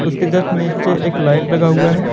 उसके जस्ट नीचे एक लाइट लगा हुआ है।